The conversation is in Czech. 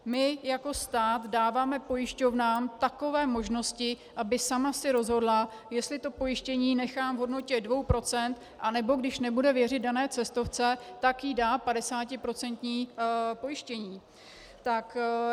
My jako stát dáváme pojišťovnám takové možnosti, aby sama si rozhodla, jestli to pojištění nechá v hodnotě 2 %, anebo když nebude věřit dané cestovce, tak jí dá 50% pojištění.